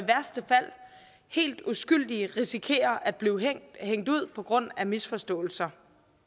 helt uskyldige i risikerer at blive hængt ud på grund af misforståelser